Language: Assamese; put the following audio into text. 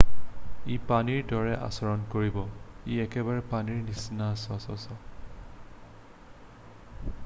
"""ই পানীৰ দৰে আচৰণ কৰিব। ই একেবাৰে পানীৰ নিচিনা চচ্চ।""